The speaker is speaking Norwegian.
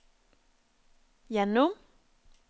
gjennom